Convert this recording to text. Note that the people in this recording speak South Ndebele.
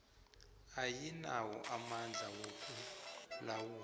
ayinawo amandla wokulawula